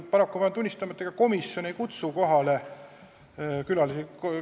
Paraku pean tunnistama, et ega komisjon ei kutsu neid kohale.